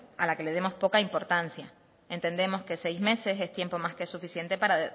a la que demos poca importancia entendemos que seis meses es tiempo más que suficiente para